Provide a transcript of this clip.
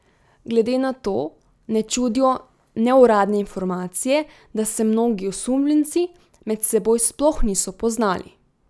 Glede na to ne čudijo neuradne informacije, da se mnogi osumljenci med seboj sploh niso poznali.